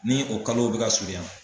Ni o kalow bɛ ka surunyan